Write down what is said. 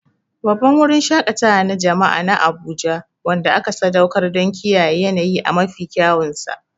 Babban wurin shaƙatawa na jama'a na Abuja wanda aka sadaukar don kiyaye yanayi a mafi kyawunsa.